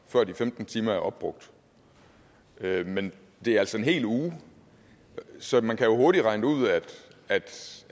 før de femten timer er opbrugt men det er altså en hel uge så man kan jo hurtigt regne ud at